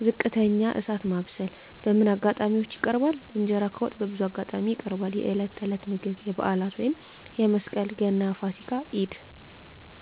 በዝቅተኛ እሳት ማብሰል በምን አጋጣሚዎች ይቀርባል? እንጀራ ከወጥ በብዙ አጋጣሚዎች ይቀርባል፦ የዕለት ተዕለት ምግብ የበዓላት (መስቀል፣ ገና፣ ፋሲካ፣ ኢድ)